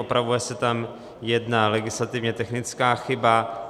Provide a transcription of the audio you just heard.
Opravuje se tam jedna legislativně technická chyba.